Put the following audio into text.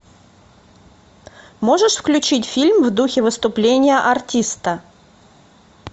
можешь включить фильм в духе выступления артиста